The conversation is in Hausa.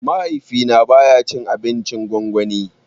Mahaifi na baya cin abincin gwangwani